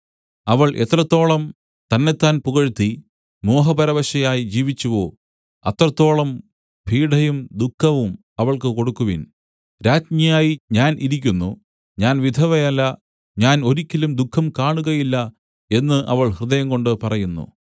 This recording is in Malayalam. അവൾ എത്രത്തോളം തന്നെത്താൻ പുകഴ്ത്തി മോഹപരവശയായി ജീവിച്ചുവോ അത്രത്തോളം പീഢയും ദുഃഖവും അവൾക്ക് കൊടുക്കുവിൻ രാജ്ഞിയായി ഞാൻ ഇരിക്കുന്നു ഞാൻ വിധവയല്ല ഞാൻ ഒരിക്കലും ദുഃഖം കാണുകയില്ല എന്നു അവൾ ഹൃദയംകൊണ്ട് പറയുന്നു